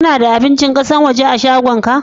Kana da abincin ƙasashen waje a'shagon ka?